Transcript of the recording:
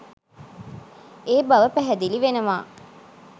ඒ බව පැහැදිලි වෙනවා.